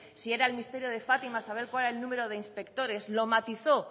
si era el misterio de fátima saber cuál era el número de inspectores lo matizó